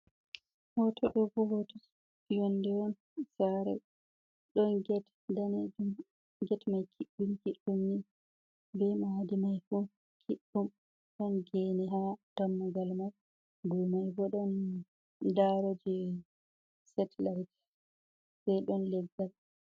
Hoto ɗobo hoto yonde on saare on, get danejum get mai kiɗɗum kiddum ni be madi mai fu kiɗɗum ɗon gene ha dammugal mai domai bo ɗon daro je satelait, sei ɗon leggal.